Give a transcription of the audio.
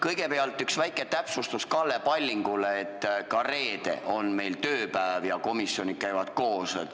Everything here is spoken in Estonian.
Kõigepealt üks väike täpsustus Kalle Pallingule: ka reede on meil tööpäev ja komisjonid käivad koos.